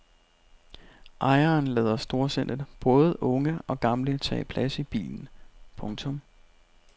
Ejeren lader storsindet både unge og gamle tage plads i bilen. punktum